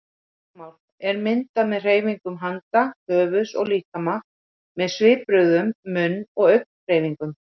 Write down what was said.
Táknmál er myndað með hreyfingum handa, höfuðs og líkama, með svipbrigðum, munn- og augnhreyfingum.